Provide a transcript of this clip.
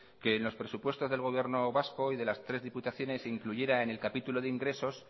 que en los presupuesto del gobierno vasco y de las tres diputaciones se incluyera en el capítulo de ingresos